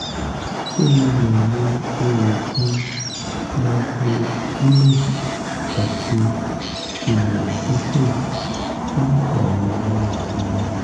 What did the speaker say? ṣé mo lè lo oògùn microgynon àti trimethoprim fún àrùn inú omi?